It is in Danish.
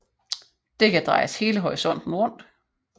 Det kan drejes hele horisonten rundt